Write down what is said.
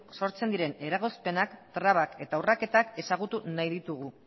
sortzen diren eragozpenak trabak eta urraketak ezagutu nahi ditugu